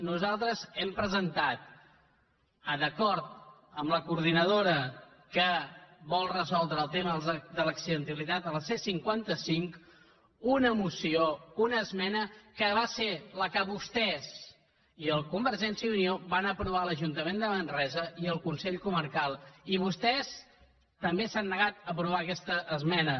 nosaltres hem presentat d’acord amb la coordinadora que vol resoldre el tema de l’accidentalitat a la c cinquanta cinc una moció una esmena que va ser la que vostès i els de convergència i unió van aprovar a l’ajuntament de manresa i al consell comarcal i vostès també s’han negat a aprovar aquesta esmena